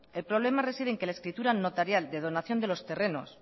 el problema reside en que la escritura notarial de donación de los terrenos